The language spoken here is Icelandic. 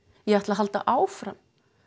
ég ætla halda áfram